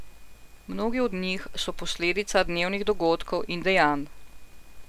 Mnogi od njih so posledica dnevnih dogodkov in dejanj.